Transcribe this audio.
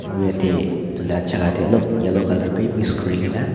aru yate tu lah jaga teh alop yellow colour bhi mix kuri ke na